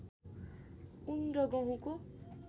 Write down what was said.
ऊन र गहुँको